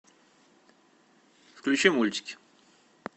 включи мультики